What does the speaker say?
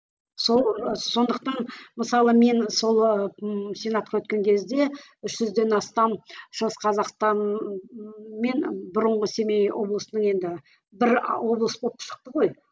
сол сондықтан мысалы мен сол ыыы сенатқа өткен кезде үш жүзден астам шығыс қазақстан мен бұрынғы семей облысының енді бір облыс болып шықты ғой